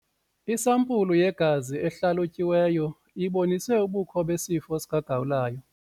Isampulu yegazi ehlalutyiweyo ibonise ubukho besifo sikagawulayo.